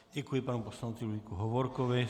Děkuji panu poslanci Ludvíku Hovorkovi.